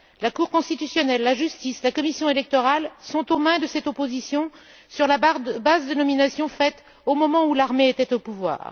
La cour constitutionnelle, la justice et la commission électorale sont aux mains de cette opposition sur la base de nominations faites au moment où l'armée était au pouvoir.